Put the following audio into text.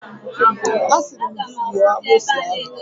A siri m gi gbuo agbusi ahu!